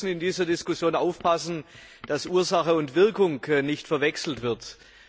Wir müssen in dieser Diskussion aufpassen, dass Ursache und Wirkung nicht verwechselt werden.